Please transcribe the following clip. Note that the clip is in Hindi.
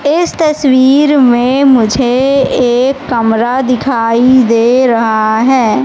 इस तस्वीर में मुझे एक कमरा दिखाई दे रहा है।